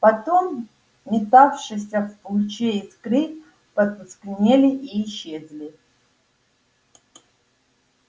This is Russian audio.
потом метавшиеся в луче искры потускнели и исчезли